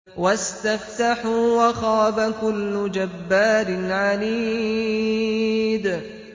وَاسْتَفْتَحُوا وَخَابَ كُلُّ جَبَّارٍ عَنِيدٍ